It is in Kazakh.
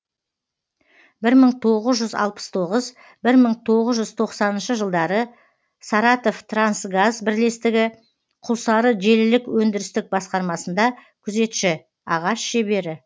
бір мың тоғыз жүз алпыс тоғыз бір мың тоғыз жүз тоқсаныншы жылдары саратовтрансгаз бірлестігі құлсары желілік өндірістік басқармасында күзетші ағаш шебері